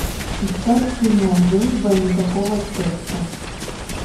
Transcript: искать кино дружба и никакого секса